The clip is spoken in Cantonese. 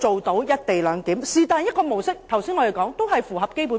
我剛才列舉的任何一種模式都符合《基本法》。